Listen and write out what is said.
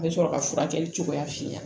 A bɛ sɔrɔ ka furakɛli cogoya f'i ɲɛna